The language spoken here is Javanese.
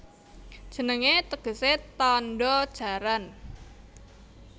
Jenengé tegesé Tandha Jaran